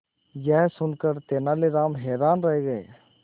यह सुनकर तेनालीराम हैरान रह गए